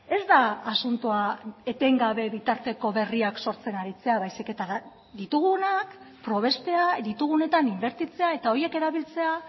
ez da asuntoa etengabe bitarteko berriak sortzen aritzea baizik eta ditugunak probestea ditugunetan inbertitzea eta horiek erabiltzea